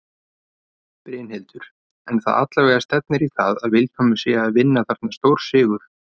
Brynhildur: En það allavega stefnir í það að Vilhjálmur sé að vinna þarna stórsigur?